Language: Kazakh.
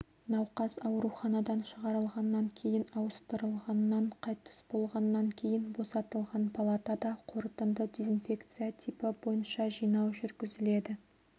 науқас ауруханадан шығарылғаннан кейін ауыстырылғаннан қайтыс болғаннан кейін босатылған палатада қорытынды дезинфекция типі бойынша жинау жүргізіледі